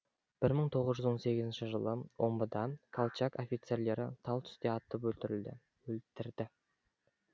бір мың тоғыз жүз он сегізінші жылы омбыда колчак офицерлері тал түсте атып өлтірді